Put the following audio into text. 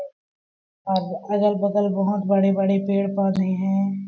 और अगल-बगल बहुत बड़े बड़े पेड़-पौधे है।